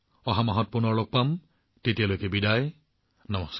আমি অহা মাহত লগ পাম তেতিয়ালৈকে মই আপোনালোকৰ পৰা বিদায় লৈছো